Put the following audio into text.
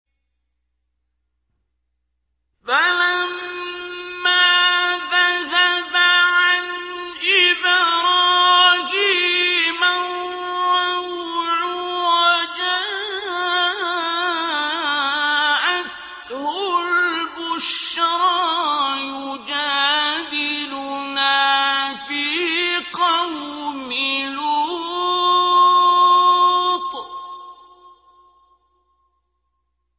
فَلَمَّا ذَهَبَ عَنْ إِبْرَاهِيمَ الرَّوْعُ وَجَاءَتْهُ الْبُشْرَىٰ يُجَادِلُنَا فِي قَوْمِ لُوطٍ